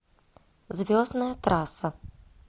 звездная трасса